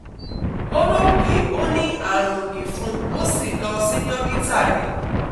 ó rò pé ó ní àrùn ìfun, ó sì lọ sí dókítà rẹ̀